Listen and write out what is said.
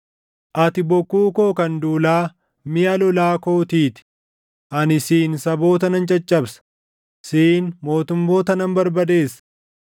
“Ati bokkuu koo kan duulaa miʼa lolaa kootii ti; ani siin saboota nan caccabsa; siin mootummoota nan barbadeessa;